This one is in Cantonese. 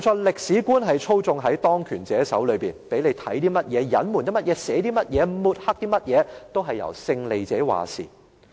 歷史觀操縱在當權者手上，勝利者決定讓人看到甚麼、隱瞞甚麼、寫些甚麼或抹黑甚麼等。